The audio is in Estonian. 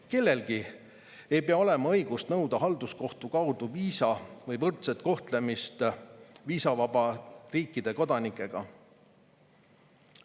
Kellelgi ei pea olema õigust nõuda halduskohtu kaudu viisa, või võrdset kohtlemist viisavaba riikide kodanikega.